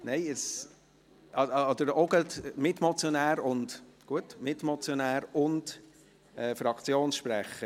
– Nein, auch als Mitmotionär und Fraktionssprecher.